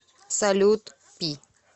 салют пи